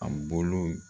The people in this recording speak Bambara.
A bolo